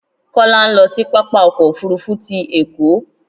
Kọ́lá ń lọ sí pápá ọkọ̀ òfuurufú ti Èkó